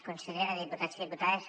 consellera diputats i diputades